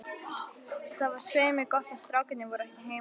Það var svei mér gott að strákarnir voru ekki heima.